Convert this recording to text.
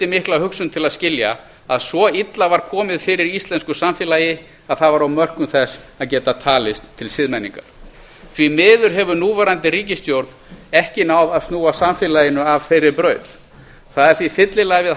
mikla hugsun til að skilja að svo illa var komið fyrir íslensku samfélagi að það var á mörkum þess að geta talist til siðmenningar því miður hefur núverandi ríkisstjórn ekki náð að snúa samfélaginu af þeirri braut það er því fyllilega við